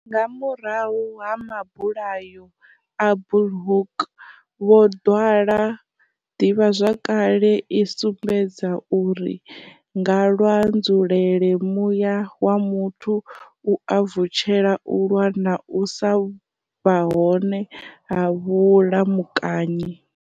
Nga murahu ha Mabula yo a Bulhoek vho ḓwala, ḓivha zwakale i sumbedza uri nga lwa nzulele muya wa muthu u a vutshela u lwa na u sa vha hone ha vhulamukanyi.